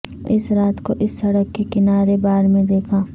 اس رات کو اس سڑک کے کنارے بار میں دیکھا